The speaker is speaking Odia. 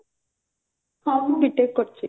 ହଁ ମୁଁ B. TECH କରିଛି